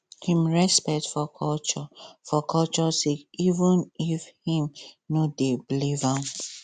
him respect for culture for culture sake even if him no dey believe am